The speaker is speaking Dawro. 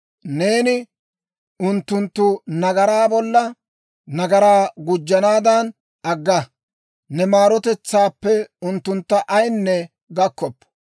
Neeni unttunttu nagaraa bolla nagaraa gujjanaadan agga; ne maarotetsaappe unttuntta ayaynne gakkoppo.